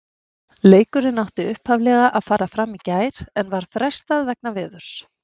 Leikurinn átti upphaflega að fara fram í gær en var frestað vegna veðurs.